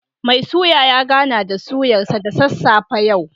Mai suya ya gana da suyar sa da sassafe yau